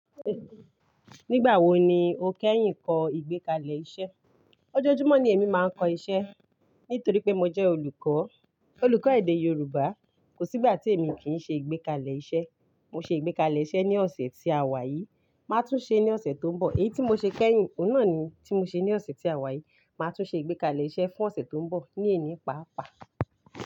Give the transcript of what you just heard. Nígbà wo ni o kẹ́yìn kọ ìgbékalẹ̀ iṣẹ́? Ojojumo ni èmi máa ń kọ iṣẹ́. Nítorí pé mo jẹ́ olùkọ́, olùkọ́ èdè Yorùbá. Kò sí ìgbà tí èmi kì í ṣe ìgbékalẹ̀ iṣẹ́. Mo ṣe ìgbékalẹ̀ iṣẹ́ ní ọ̀sẹ̀ tí a wà yìí, máa tún ṣe ní ọ̀sẹ̀ tó ń bọ̀. Èyí tí mo ṣe kẹ́yìn, òun náà ni tí mo ṣe ní ọ̀sẹ̀ tí a wà yìí. Màá tún ṣe ìgbékalẹ̀ iṣẹ́ fún ọ̀sẹ̀ tó ń bọ̀ ní èní paapaa.